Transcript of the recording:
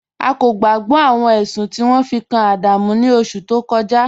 A kò gbàgbọ̀ awọn ẹṣun ti won fi kan Adamu ni oṣù tó kọja